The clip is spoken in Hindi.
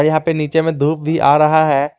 यहां पे नीचे में धूप भी आ रहा है।